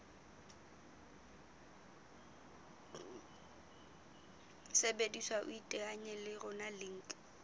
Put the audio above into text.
sebediswa iteanye le rona link